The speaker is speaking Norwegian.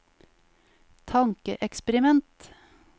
tankeeksperiment